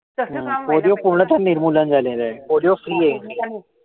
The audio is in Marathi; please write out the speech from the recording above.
polio त पूर्ण निर्मूलन झालेलंय. Polio free a India.